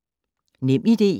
NemID